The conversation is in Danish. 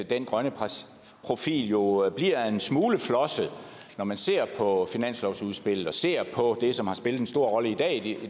den grønne profil jo bliver en smule flosset når man ser på finanslovsudspillet og ser på det som har spillet en stor rolle i dag i